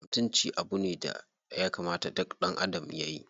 Mutunci abu ne daya kamata duk ɗanadam yayi.